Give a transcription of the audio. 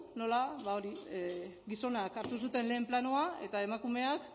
nola ba hori gizonak hartu zuten lehen planoa eta emakumeak